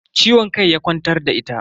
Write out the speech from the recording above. Ciwon kai ya kwantar da ita.